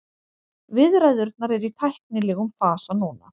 Viðræðurnar eru í tæknilegum fasa núna